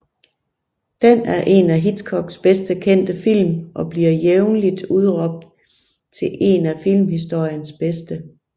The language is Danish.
Den er en af Hitchcocks bedst kendte film og bliver jævnligt udråbt til en af filmhistoriens bedste